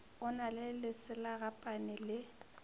o na le leselagapane le